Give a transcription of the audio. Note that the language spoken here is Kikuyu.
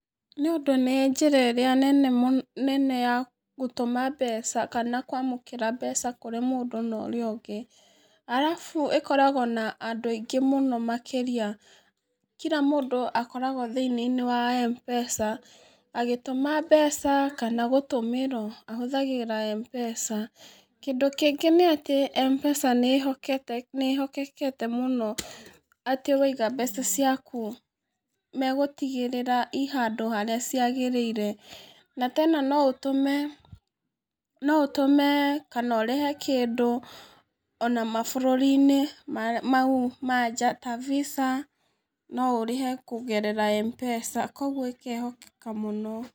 Nĩũndũ nĩ njĩra ĩrĩa nene mũ, nene ya gũtũma mbeca kana kwamũkĩra mbeca kũrĩ mũndũ na ũrĩa ũngĩ, arabu ĩkoragwo na andũ aingĩ mũno makĩria, kira mũndũ akoragwo thĩinĩ-inĩ wa MPESA, agĩtúma mbeca, kana gũtũmĩrwo, ahũthagĩra Mpesa, kĩndũ kĩngĩ nĩ atĩ Mpesa nĩhotete, nĩĩhokekete mũno atĩ waiga mbeca ciake, megũtigĩrĩra i handũ harĩa ciagĩrĩire, na tena noũtũme, noũtũme kanorĩhe kĩndũ ona mabũrũri-inĩ me mau ma njaa, ta VISA noũrĩhe kũgerera Mpesa, koguo ĩkehokeka mũno.